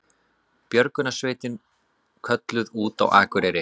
Björgunarsveitin kölluð út á Akureyri